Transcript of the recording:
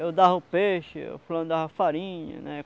Eu dava o peixe, o fulano dava farinha, né?